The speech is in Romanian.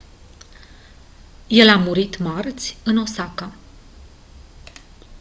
el a murit marți în osaka